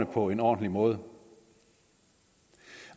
på en ordentlig måde